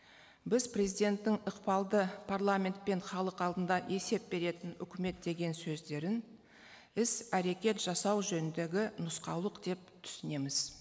біз президенттің ықпалды парламент пен халық алдында есеп беретін үкімет деген сөздерін іс әрекет жасау жөніндегі нұсқаулық деп түсінеміз